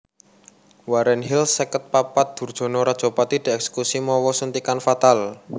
Warren Hill seket papat durjana rajapati dièksekusi mawa suntikan fatal